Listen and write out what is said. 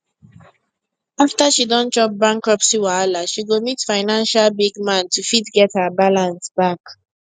after she don chop bankruptcy wahala she go meet financial big man to fit get her balance back